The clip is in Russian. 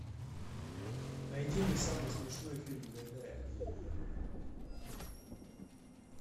найди мне самый смешной фильм гайдая